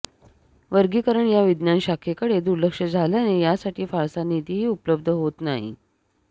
वर्गीकरण या विज्ञानशाखेकडे दुर्लक्ष झाल्याने यासाठी फारसा निधीही उपलब्ध होत नाही